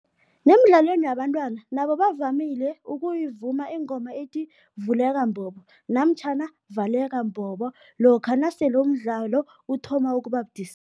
Nemidlalweni yabentwana, nabo bavamile ukuyivuma ingoma ethi vuleka mbobo namtjhana valeka mbobo, lokha nasele umdlalo uthoma ukuba budisi.